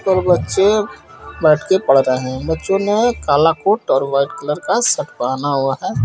और बच्चे बेैठ के पढ़ रहे हेै बच्चो ने काला कोट और वाइट कलर का शर्ट पहना हुआ हेै।